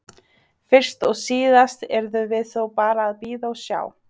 Fyrst og síðast yrðum við þó bara að bíða og sjá.